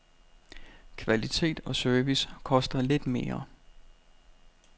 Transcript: Kvalitet og service koster lidt mere.